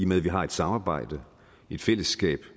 med at vi har et samarbejde et fællesskab